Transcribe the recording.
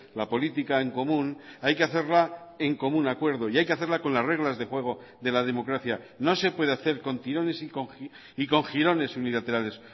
la política en común hay que hacerla en común acuerdo y hay que hacerla con las reglas de juego de la democracia no se puede hacer con tirones y con jirones unilaterales